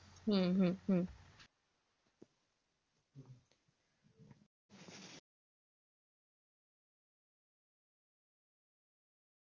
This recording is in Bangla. হম হম হম